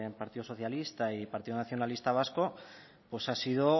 partido socialista y del partido nacionalista vasco pues ha sido